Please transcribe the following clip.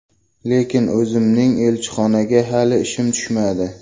Lekin o‘zimning elchixonaga hali ishim tushmadi.